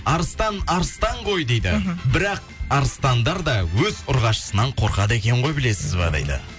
арыстан арыстан ғой дейді мхм бірақ арыстандар да өз ұрғашысынан қорқады екен ғой білесіз ба дейді